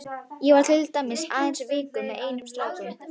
Ég var til dæmis aðeins í viku með einum stráknum.